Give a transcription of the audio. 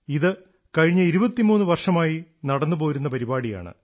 ഇത് കഴിഞ്ഞ 23 വർഷമായി നടന്നുപോരുന്ന പരിപാടിയാണ്